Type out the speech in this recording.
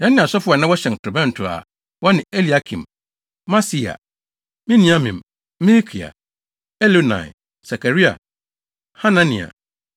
Yɛne asɔfo a na wɔhyɛn torobɛnto a wɔne Eliakim, Maaseia, Miniamin, Mikaia, Elioenai, Sakaria, Hanania